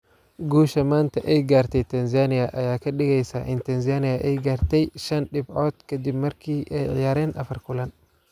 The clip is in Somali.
Guusha maanta ay gaartay Tanzania ayaa ka dhigeysa in Tanzania ay gaartay shan dhibcood ka dib markii ay ciyaareen afar kulan.